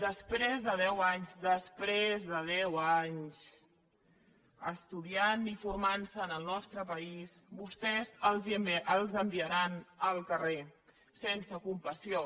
després de deu anys estudiant i formant se en el nostre país vostès els enviaran al carrer sense compassió